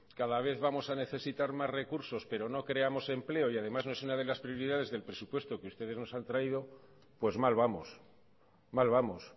cada vez vamos a necesitar más recursos pero no creamos empleo y además no es una de las prioridades del presupuesto que ustedes nos han traído pues mal vamos mal vamos